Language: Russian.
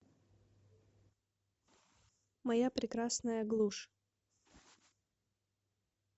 моя прекрасная глушь